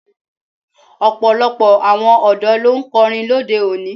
Ọ̀pọ̀lọpọ̀ àwọn ọ̀dọ́ ló ń kọrin lóde òní.